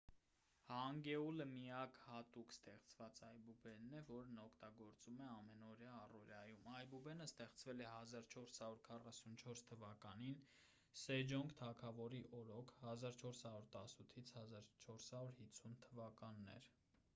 հանգեուլը միակ հատուկ ստեղծված այբուբենն է որն օգտագործվում է ամենօրյա առօրյայում։ այբուբենը ստեղծվել է 1444 թվականին սեջոնգ թագավորի օրոք 1418 - 1450 թվականներ։